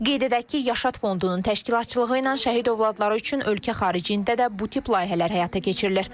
Qeyd edək ki, Yaşad Fondunun təşkilatçılığı ilə şəhid övladları üçün ölkə xaricində də bu tip layihələr həyata keçirilir.